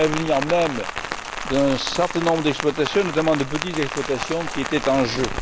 C'est l'avenir même d'un certain nombre d'exploitations, notamment de petites exploitations, qui était en jeu.